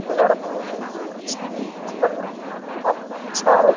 पेड़ पौधे भी हैं इसके इनके में। काफी अच्छा है।